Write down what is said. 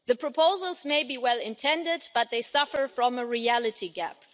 The proposals may be well intended, but they suffer from a reality gap.